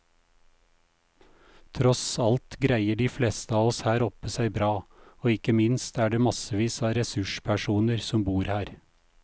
Tross alt greier de fleste av oss her oppe seg bra, og ikke minst er det massevis av ressurspersoner som bor her.